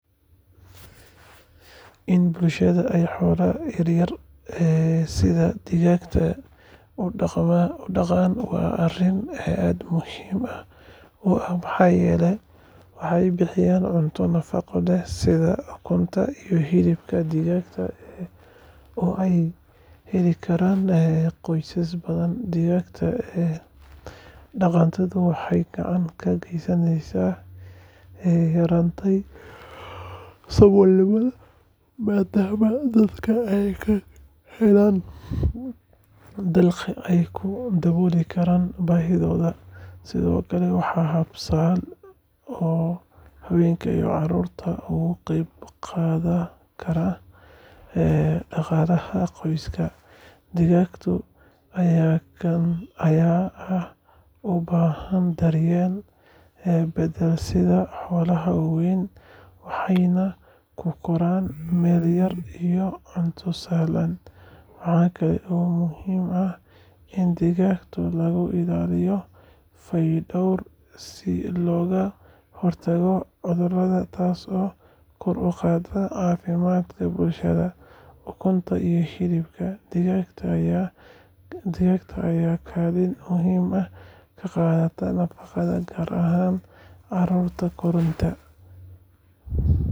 In bulshada ay xoolaha yaryar sida digaagga u dhaqdaan waa arrin aad muhiim u ah maxaa yeelay waxay bixiyaan cunto nafaqo leh sida ukunta iyo hilibka digaagga oo ay heli karaan qoysas badan. Digaag dhaqatadu waxay gacan ka geysataa yaraynta saboolnimada maadaama dadka ay ka helaan dakhli ay ku daboolaan baahiyahooda. Sidoo kale, waa hab sahlan oo haweenka iyo carruurtu uga qayb qaadan karaan dhaqaalaha qoyska. Digaagga ayaa aan u baahnayn daryeel badan sida xoolaha waaweyn, waxayna ku koraan meel yar iyo cunto sahlan. Waxa kale oo muhiim ah in digaagta lagu ilaaliyo fayadhowr si looga hortago cudurada, taasoo kor u qaadaysa caafimaadka bulshada. Ukunta iyo hilibka digaagga ayaa kaalin muhiim ah ka qaata nafaqada, gaar ahaan carruurta koraya.